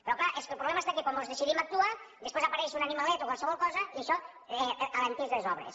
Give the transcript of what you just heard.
però clar el problema està que quan mos decidim a actuar després apareix un animalet o qualsevol cosa i això alenteix les obres